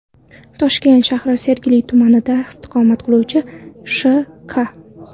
Toshkent shahri Sergeli tumanida istiqomat qiluvchi Sh.K.